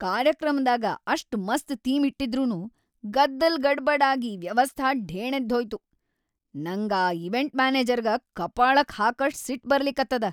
ಕಾರ್ಯಕ್ರಮದಾಗ ಅಷ್ಟ್‌ ಮಸ್ತ್ ಥೀಮ್‌ ಇಟ್ಟಿದ್ರನೂ ಗದ್ದಲ್‌ ಗಡಬಡ್‌ ಆಗಿ ವ್ಯವಸ್ಥಾ ಢೇಣೆದ್ಹೋಯ್ತು, ನಂಗ ಆ ಈವೆಂಟ್‌ ಮ್ಯಾನೆಜರ್‌ಗ ಕಪಾಳಕ್ಕ ಹಾಕಷ್ಟ್‌ ಸಿಟ್ಟ್‌ ಬರ್ಲಿಕತ್ತದ.